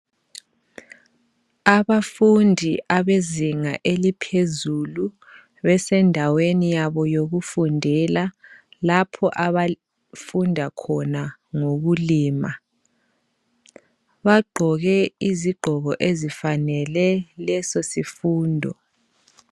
Abafundi abezinga laphezulu besendaweni yabo yokufundela lapho abafunda khona ngokulima. Bagqoke izigqoko ezifanele leso sifundo.